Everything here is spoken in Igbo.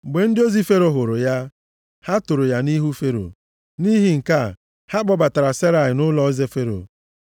Mgbe ndị ozi Fero hụrụ ya, ha toro ya nʼihu Fero. Nʼihi nke a, ha kpọbatara Serai nʼụlọeze Fero.